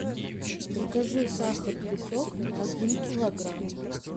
закажи сахар песок один килограмм